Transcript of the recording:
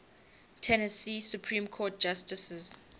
tennessee supreme court justices